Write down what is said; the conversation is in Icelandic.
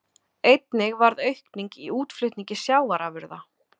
Einnig varð aukning í útflutningi sjávarafurða